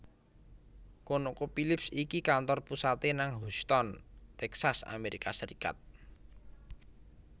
ConocoPhillips iki kantor pusate nang Houston Texas Amerika Serikat